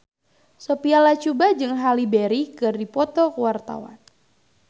Sophia Latjuba jeung Halle Berry keur dipoto ku wartawan